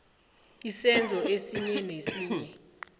isenzo esinye nesinye